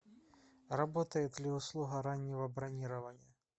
работает ли услуга раннего бронирования